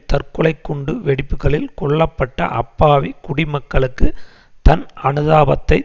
தற்கொலை குண்டு வெடிப்புக்களில் கொல்ல பட்ட அப்பாவி குடிமக்களுக்கு தன் அனுதாபத்தைத்